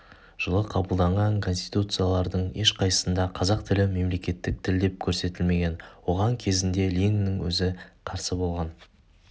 жылы қабылданған конституциялардың ешқайсында қазақ тілі мемлекеттік тіл деп көрсетілмеген оған кезінде лениннің өзі қарсы болған